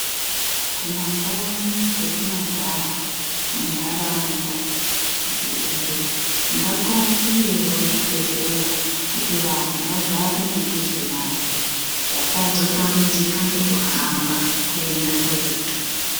Kumakanyi kwetinogara, muntaraunda dziriyo, ngakuakiwewo zvibhedhlera ,kuti vantu vagare mudhuze nazvo, vasazotambudzika ngekuhamba, kuenda kuretu.